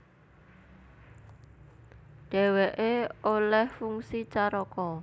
Dhèwèké olèh fungsi caraka